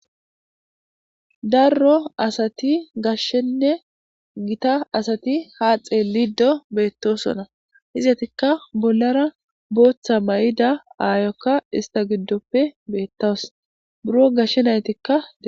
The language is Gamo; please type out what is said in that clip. Darro asati gashshenne gita asati haaxe lido beettosona hizatikka bollara booththa may'id aayokka ista giddoppe beettaws buro gashshe naytikka.